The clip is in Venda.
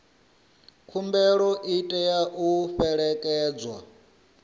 khumbelo i tea u fhelekedzwa